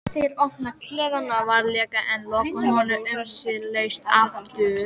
Þeir opna klefann varlega en loka honum umsvifalaust aftur.